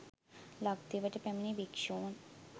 ලක්දිවට පැමිණි භික්‍ෂූන්